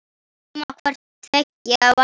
Nema hvort tveggja væri.